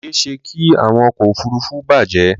Ó ṣeéṣe kí àwọn ọkọ̀ òfuruufú bàjẹ́.